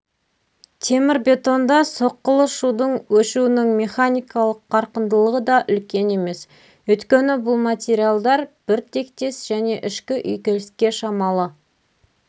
темірбетонда соққылы шудың өшуінің механикалық қарқындылығы да үлкен емес өйткені бұл материалдар бір тектес және ішкі үйкеліске шамалы